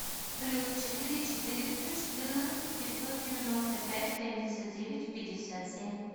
плюс четыре четыреста четырнадцать пятьсот девяносто пять семьдесят девять пятьдесят семь